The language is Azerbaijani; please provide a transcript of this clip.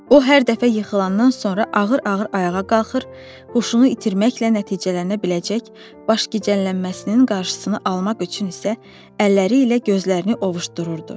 O hər dəfə yıxılandan sonra ağır-ağır ayağa qalxır, huşunu itirməklə nəticələnə biləcək başgicəllənməsinin qarşısını almaq üçün isə əlləri ilə gözlərini ovuşdururdu.